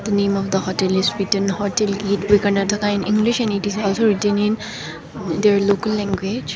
the name of the hotel is written hotel gateway karnataka in english and it is also written in their local language.